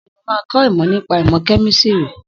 Bẹ́ẹ̀ni, mo máa kọ́ ìmọ̀ nípa ìmọ̀ kẹ́mísìrì.